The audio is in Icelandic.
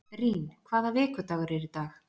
Rín, hvaða vikudagur er í dag?